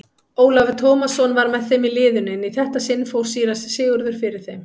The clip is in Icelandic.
Ólafur Tómasson var með í liðinu en í þetta sinn fór síra Sigurður fyrir þeim.